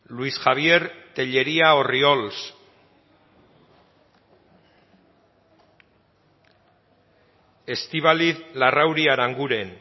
luis javier tellería orriols estíbaliz larrauri aranguren